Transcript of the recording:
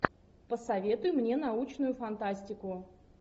посоветуй мне научную фантастику